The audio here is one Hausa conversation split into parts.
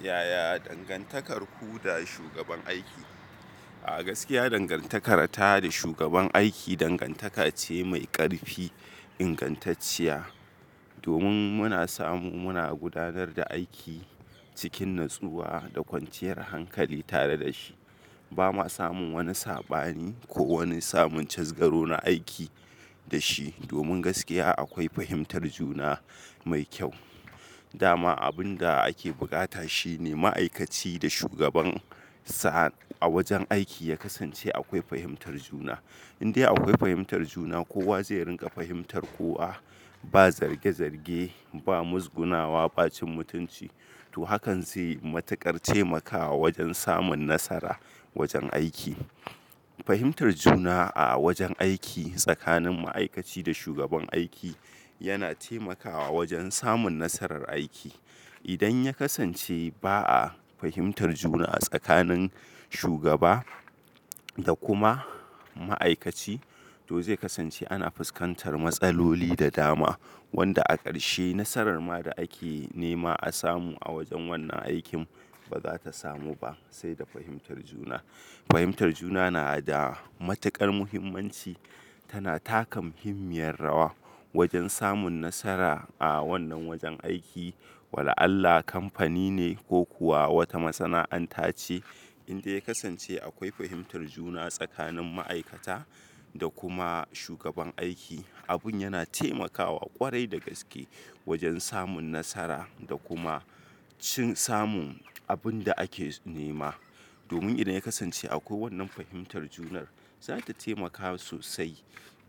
Yaya dangantakar ku da shugaban aiki? A gaskiya dangantakar ta da shugaban aiki dangantaka ce mai ƙarfi, ingantacciya. Domin muna samu muna gudanar da aiki cikin natsuwa da kwanciyar hankali tare da shi. Ba mu samun wani sabani, ko wani samun casgaro na aiki da shi. Domin gaskiya akwai fahimtar juna mai kyau. Dama abun da ake buƙata shine ma'aikaci da shugaban sa a wajen aiki ya kasance akwai fahimtar juna. Indai akwai fahimtar juna, kowa zai rinƙa fahimtar kowa. Ba zarge zarge, ba muzgunawa, ba cin mutunci. To hakan zai yi matuƙar taimakawa wajen samun nasara wajen aiki. Fahimtar juna a wajen aiki tsakanin ma'aikaci da shugaban aiki yana taimakawa wajen samun nasarar aiki. Idan ya kasance ba a fahimtar juna a tsakanin shugaba da kuma ma'aikaci, to zai kasance ana fuskantar matsaloli da dama. Wanda a ƙarshe nasarar ma da ake nema a samu a wajen wannan aikin, ba za ta samu ba sai da fahimtar juna. Fahimtar juna na da matuƙar muhimmanci. Tana taka muhimmiyar rawa wajen samun nasara a wannan wajen aiki. Wala Allah kamfani, ne ko kuwa wata masana'anta ce, Indai ya kasance akwai fahimtar juna tsakanin ma'aikata, da kuma shugaban aiki, abun yana taimakawa ƙwarai da gaske wajen samun nasara da kuma cin samun abun da ake nema. Domin idan ya kasance akwai wannan fahimtar junar, za ta taimakawa sosai.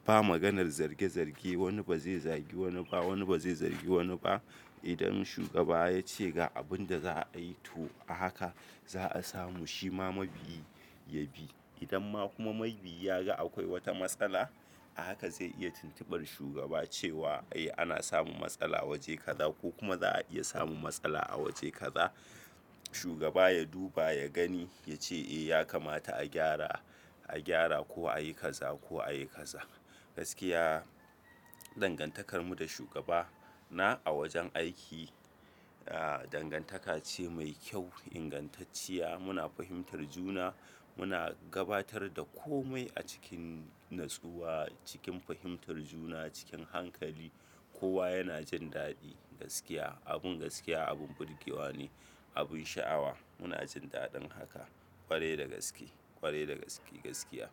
Ba maganar zarge zarge, wani ba zai zagi wani ba, wani ba zai zargi wani ba. Idan shugaba ya ce ga abun da za a yi, to a haka za a samu Shi ma mabiyi, ya bi. Idan ma kuma mabiyi ya ga akwai wata matsala, a haka zai iya tuntubar shugaba cewa; "Eh ana samun matsala waje kaza ko kuma za a iya samun matsala a waje kaza." Shugaba ya duba, ya gani, ya ce "Eh ya kamata a gyara, a gyara ko a yi kaza ko a yi kaza." Gaskiya dangantakar mu da shugaba na a wajen aiki, aa dangantaka ce mai kyau, ingantacciya. Muna fahimtar juna, muna gabatar da komai a cikin natsuwa, cikin fahimtar juna, cikin hankali. Kowa yana jin daɗi. Gaskiya. Abin gaskiya abin burgewa ne, abin sha'awa. Muna jin daɗin haka, ƙwarai da gaske, ƙwarai da gaske gaskiya.